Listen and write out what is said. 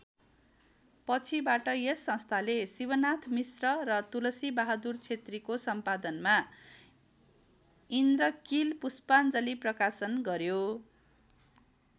पछिबाट यस संस्थाले शिवनाथ मिश्र र तुलसीबहादुर छेत्रीको सम्पादनमा इन्द्रकील पुष्पाञ्जलि प्रकाशन गऱ्यो।